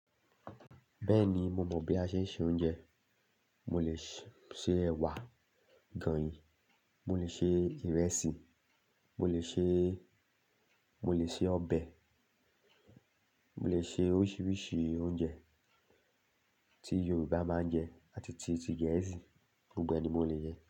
Bẹ́ẹ̀ni, mo mọ̀ bí a ṣe ń se oúnjẹ. Mo lè ṣe ẹ̀wà agọ̀yìn mo lè ṣe ìrẹsì mo lè ṣe mo lè ṣe ọbẹ̀ mo lè ṣe oríṣiríṣi oúnjẹ tí yorùbá máa ń jẹ àti ti ti gẹ̀ẹ́sì gbogbo ẹ̀ ni mo lè.